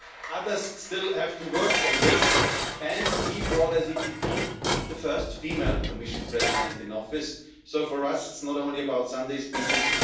Others still have to work on this, and we brought, as the EPP, the first female Commission President in Office, so for us it's not only about Sunday speeches